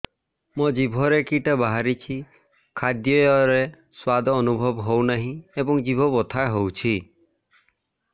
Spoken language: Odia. ମୋ ଜିଭରେ କିଟା ବାହାରିଛି ଖାଦ୍ଯୟରେ ସ୍ୱାଦ ଅନୁଭବ ହଉନାହିଁ ଏବଂ ଜିଭ ବଥା ହଉଛି